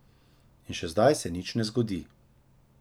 In še zdaj se nič ne zgodi.